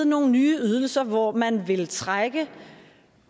nogle ydelser hvor man vil trække